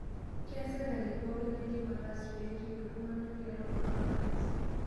Keas sirkali pookin naidim ataas pee errip iltung'ana tialo korona virus